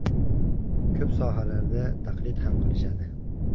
Ko‘p sohalarda taqlid ham qilishadi.